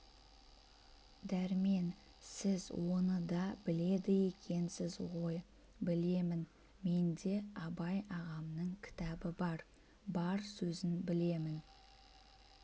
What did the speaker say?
дәрмен сіз оны да біледі екенсіз ғой білемін менде абай ағамның кітабы бар бар сөзін білемін